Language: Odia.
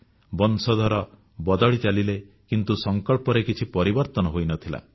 ବଂଶଧର ବଦଳି ଚାଲିଲେ କିନ୍ତୁ ସଂକଳ୍ପରେ କିଛି ପରିବର୍ତ୍ତନ ହୋଇନଥିଲା